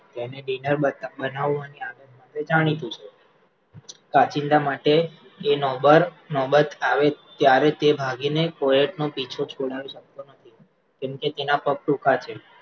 બનાવવા ની આગત્વા ને લીધે જાણીતું છે કાચિંડા માટે એ નોબત આવે ત્યારે તે ભાગી ને તેનો પીછો છોડાવી શકતો નથી, જેમકે તેનાં પગ ટૂંકા છે